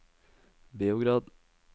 Beograd